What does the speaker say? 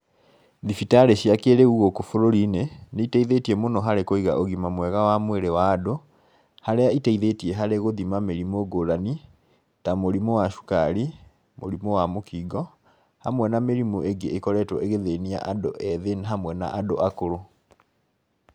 Thibitarĩ cia kĩrĩu gũkũ bũrũri-inĩ, nĩ iteithĩtie mũno harĩ kũiga ũgima mwega wa mwĩrĩ wa andũ, harĩa iteithĩtie harĩ gũthima mĩrimũ ngũrani, ta mũrimũ wa cukari, mũrimũ wa mũkingo, hamwe na mĩrimũ ĩngĩ ĩkoretwo ĩgĩthĩnia andũ ethĩ hamwe na andũ akũrũ.